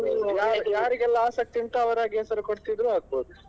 ಯಾ~ ಯಾರಿಗೆಲ್ಲ ಆಸಕ್ತಿಯುಂಟು ಅವ್ರಾಗಿಯೇ ಹೆಸರು ಕೊಡ್ತಿದ್ರು ಆಗ್ಬಹುದು.